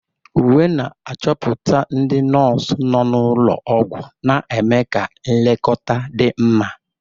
Uwe na-achọpụta ndị nọọsụ nọ n'ụlọ ọgwụ, na-eme ka nlekọta dị mma.